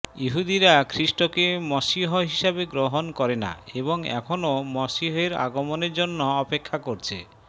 ইহুদীরা খ্রীষ্টকে মশীহ হিসাবে গ্রহণ করে না এবং এখনও মশীহের আগমনের জন্য অপেক্ষা করছে